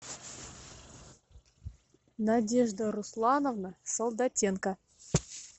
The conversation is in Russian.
надежда руслановна солдатенко